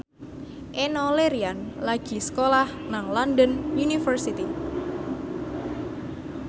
Enno Lerian lagi sekolah nang London University